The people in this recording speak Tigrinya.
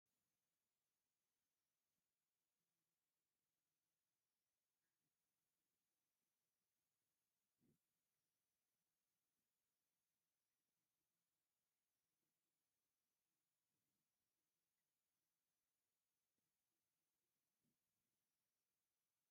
ናይ ኣዲስ ኣባባ ከንቲባ ወይዘሮ ኣዳነች ኣቤቤ ኣብ 2ይ ዙር ኣመልኪቱ ካብ ጋዜጠኛታት ንዝቐረቡለን ሕቶታት ምላሽ እንትህባ ዝብል ፅሑፍ ዘለዎ ናይ ቴለብዥን መግለፂ እኒሆ፡፡ ነዘን ከንቲባ ተድንቕወን ዶ?